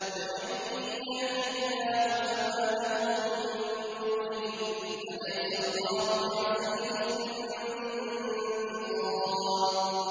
وَمَن يَهْدِ اللَّهُ فَمَا لَهُ مِن مُّضِلٍّ ۗ أَلَيْسَ اللَّهُ بِعَزِيزٍ ذِي انتِقَامٍ